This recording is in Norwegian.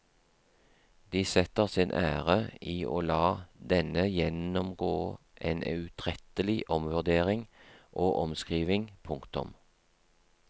De setter sin ære i å la denne gjennomgå en utrettelig omvurdering og omskrivning. punktum